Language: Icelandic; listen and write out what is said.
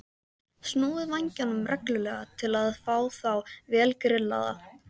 Snúið vængjunum reglulega til að fá þá vel grillaða.